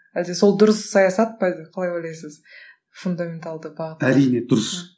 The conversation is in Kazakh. әлде сол дұрыс саясат па енді қалай ойлайсыз фундаменталды бағытта әрине дұрыс